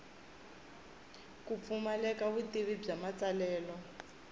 ku pfumaleka vutivi bya matsalelo